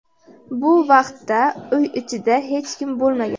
Bu vaqtda uy ichida hech kim bo‘lmagan.